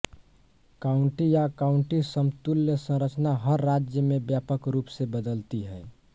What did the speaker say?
county या काउंटीसमतुल्य संरचना हर राज्य में व्यापक रूप से बदलती हैं